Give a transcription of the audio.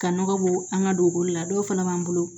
Ka nɔgɔ bɔ an ka dugukolo la dɔw fana b'an bolo